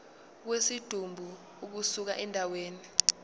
kwesidumbu ukusuka endaweni